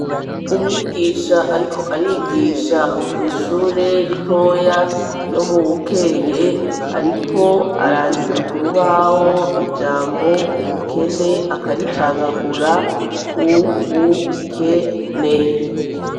umwigisha ariko arigisha mw'ishure ritoya ryo mu Bukeye, ariko arandika kurubaho ijambo ubukene akaricagagura u -bu- ke -ne.